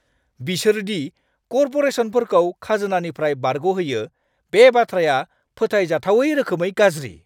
बिसोर दि करप'रेसनफोरखौ खाजोनानिफ्राय बारग'होयो बे बाथ्राया फोथायजाथावै रोखोमै गाज्रि।